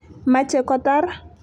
machei kotar.